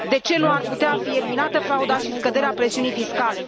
De ce nu ar putea fi eliminată frauda și scăzută presiunea fiscală?